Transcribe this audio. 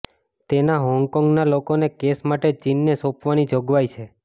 તેમાં હોંગકોંગના લોકોને કેસ માટે ચીનને સોંપવાની જોગવાઇ છે